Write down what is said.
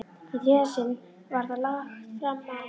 Í þriðja sinn var það lagt fram á